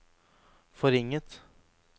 forringet